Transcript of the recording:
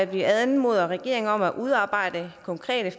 vi anmoder regeringen om at udarbejde konkrete